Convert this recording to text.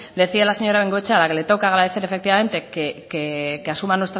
decía la señora de bengoechea a la que le tengo que agradecer efectivamente que asuma